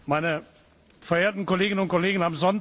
Meine verehrten Kolleginnen und Kollegen!